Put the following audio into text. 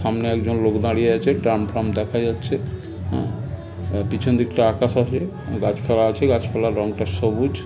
সামনে একজন লোক দাঁড়িয়ে আছে। ড্রাম ফ্রাম দেখা যাচ্ছে উমম পিছন দিকটা আকাশ আছে গাছ পালা আছে এবং গাছ পালার রং সবুজ ।